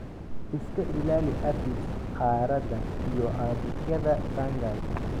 Iska ilaali aphids, caarada, iyo caabuqyada fungal